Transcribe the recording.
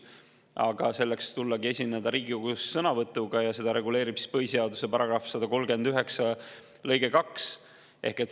Aga selleks saabki tulla Riigikogusse ja esineda sõnavõtuga ja seda reguleerib põhiseaduse § 139 lõige 2.